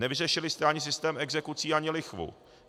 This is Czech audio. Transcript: Nevyřešili jste ani systém exekucí, ani lichvu.